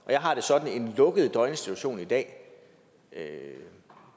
jeg har det sådan at en lukket døgninstitution i dag